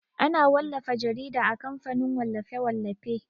Ana wallafa jarida a kamfanin wallafe-wallafe.